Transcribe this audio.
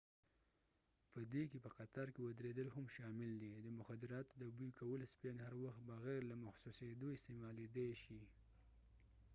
په دې کې په قطار کې ودریدل هم شامل دي د مخدراتو د بوی کولو سپیان هر وخت بغیر له محسوسیدو استعمالیدای شی